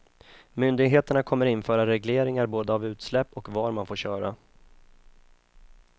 Myndigheter kommer införa regleringar både av utsläpp och var man får köra.